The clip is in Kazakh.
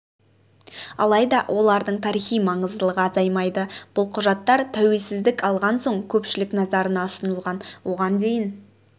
алайда олардың тарихи маңыздылығы азаймайды бұл құжаттар тәуелсіздік алған соң көпшілік назарына ұсынылған оған дейін